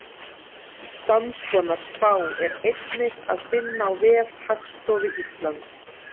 Samskonar spá er einnig að finna á vef Hagstofu Íslands.